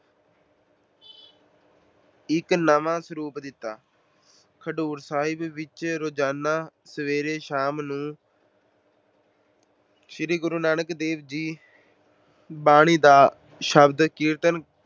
ਇੱਕ ਨਵਾਂ ਸਰੂਪ ਦਿੱਤਾ। ਖਡੂਰ ਸਾਹਿਬ ਵਿੱਚ ਰੋਜਾਨਾ ਸਵੇਰੇ ਸ਼ਾਮ ਸ਼੍ਰੀ ਗੁਰੂ ਨਾਨਕ ਦੇਵ ਜੀ ਬਾਣੀ ਦਾ ਸ਼ਬਦ ਕੀਰਤਨ ਕਰਦੇ